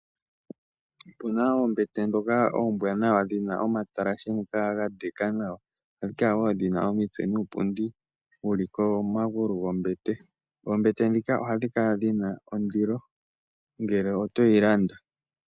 Otu na oombete ndhoka ombwaanawa dhi na omatalashe ngoka ga ndeka nawa. Ndhoka wo dhi na omitse nuupundi wu li komagulu gombete. Ombete ndhika ohadhi kala dhi na ondilo ngele oto yi landa.